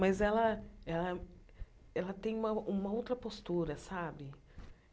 Mas ela ela ela tem uma uma outra postura, sabe?